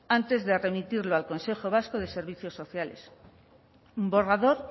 antes de remitirlo al consejo vasco de servicios sociales un borrador